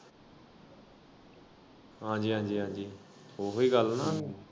ਹਾਂਜੀ ਹਾਂਜੀ ਹਾਂਜੀ ਓਹੀ ਗੱਲ ਨਾ ।